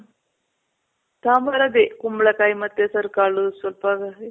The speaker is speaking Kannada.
ಸಾಂಬಾರ್ ಅದೆ ಕುಂಬಳ ಕಾಯಿ ಮತ್ತೆ ಹೆಸರ್ ಕಾಳು ಸ್ವಲ್ಪ